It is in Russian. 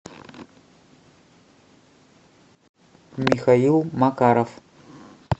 михаил макаров